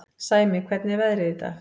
Sæmi, hvernig er veðrið í dag?